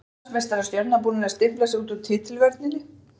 Eru Íslandsmeistarar Stjörnunnar búnir að stimpla sig út úr titilvörninni?